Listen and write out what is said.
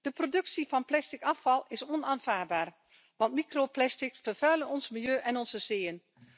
De productie van plastic afval is onaanvaardbaar want microplastics vervuilen ons milieu en onze zeeën.